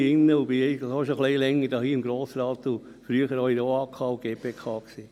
Früher war ich auch Mitglied der Oberaufsichtskommission (OAK) und gehöre der GPK an.